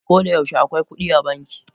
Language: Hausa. Koda yaushe akwai kudi a banki.